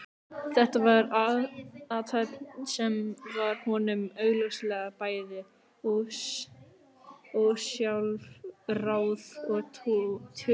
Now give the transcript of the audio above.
Þetta var athöfn sem var honum augljóslega bæði ósjálfráð og töm.